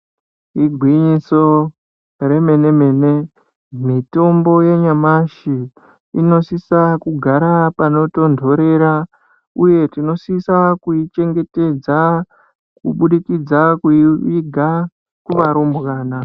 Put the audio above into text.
Igwinyiso remenemene mitombo yenyemashi inosisa kugara panotondorera uye tinosiyisa kuichengetedza kubuditsidza kuiviga kuvarumbwana.